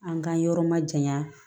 An ka yɔrɔ ma janya